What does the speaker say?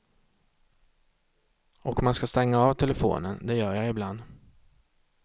Och man ska stänga av telefonen, det gör jag ibland.